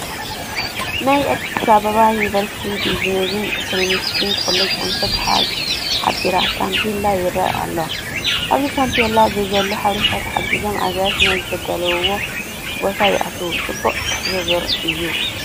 ናይ ኣዲስ ኣባባ ዩኒቨርስቲ ቢዝነስን ኢኮነሚክስን ኮሌጁ ኣንፈት ሓባሪ ታፔላ ይርአ ኣሎ፡፡ ኣብዚ ታፔላ ብዘሎ ሓበሬታ ተሓጊዞም ኣጋይሽ ናዝ ዝደልይዎ ቦታ ይኣትዉ፡፡ ፅቡቕ ትሕብብር እዩ፡፡